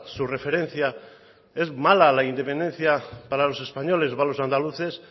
su referencia es mala la independencia para los españoles para los andaluces